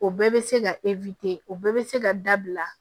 O bɛɛ bɛ se ka o bɛɛ bɛ se ka dabila